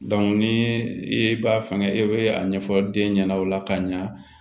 ni i b'a fɛngɛ e bɛ a ɲɛfɔ den ɲɛna o la ka ɲa